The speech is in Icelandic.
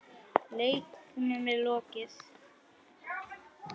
Leiknum er lokið.